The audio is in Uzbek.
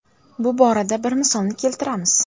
Bu borada bir misolni keltiramiz.